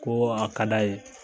Ko a ka d'a ye